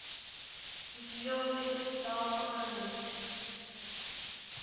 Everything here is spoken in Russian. звездный кристалл покажи